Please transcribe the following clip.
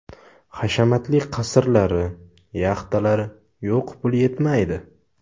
Hashamatli qasrlari, yaxtalari yo‘q puli yetmaydi.